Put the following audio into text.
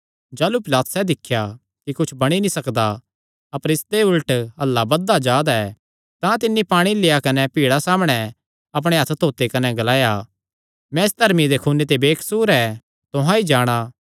जाह़लू पिलातुसैं दिख्या कि कुच्छ बणी नीं सकदा अपर इसदे उल्ट हल्ला बधदा जा दा ऐ तां तिन्नी पाणी लेआ कने भीड़ा सामणै अपणे हत्थ धोते कने ग्लाया मैं इस धर्मिये दे खून ते बेकसूर ऐ तुहां ई जाणा